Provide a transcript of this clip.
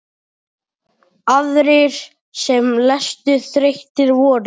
Aðrir sem leystu þrautir voru